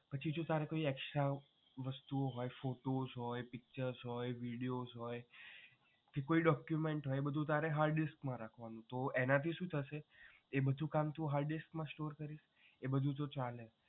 પછી તારે જો કોઈ extra વસ્તુઓ હોય photos હોય pictures હોય videos હોય કે કોઈ document હોય એ બધુ તારે hard disk માં રાખવાનું તો એનાથી શું થશે એ બધુ કામ તું hard disk માં store કરી શકે એ બધુ જો ચાલે